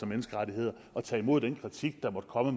menneskerettigheder at tage imod den kritik der måtte komme